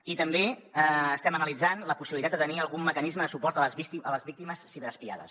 i també estem analitzant la possibilitat de tenir algun mecanisme de suport a les víctimes ciberespiades